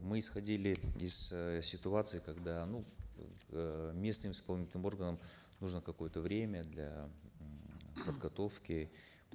мы исходили из э ситуации когда ну э местным исполнительным органам нужно какое то время для подготовки